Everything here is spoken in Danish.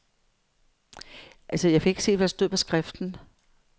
Problemet er, at det internationale samfund ikke har støttet.